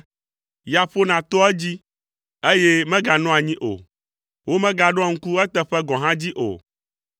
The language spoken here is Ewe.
ya ƒona toa edzi, eye meganɔa anyi o, womegaɖoa ŋku eteƒe gɔ̃ hã dzi o.